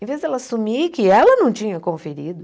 Em vez dela assumir que ela não tinha conferido.